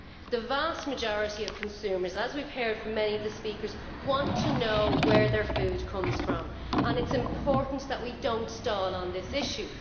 The vast majority of consumers, as we have heard from many of the speakers, want to know where their food comes from, and it is important that we do not stall on this issue.